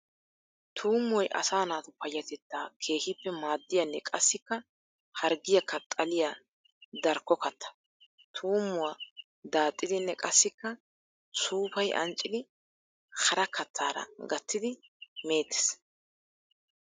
Tuummoy asaa naatu payatettaa keehippe maadiyanne qassikka harggiyakka xalliya darkko katta. Tuummuwaa daaxxidinne qassikka suufayi ancciddi hara kattaara gattiddi meetees.